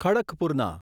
ખડકપુરના